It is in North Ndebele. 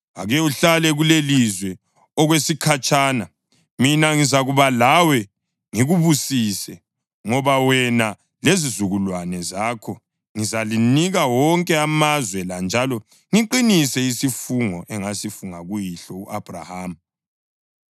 Ake uhlale kulelilizwe okwesikhatshana, mina ngizakuba lawe ngikubusise. Ngoba wena lezizukulwane zakho ngizalinika wonke amazwe la njalo ngiqinise isifungo engasifunga kuyihlo u-Abhrahama.